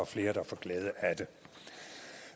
flere der får glæde af det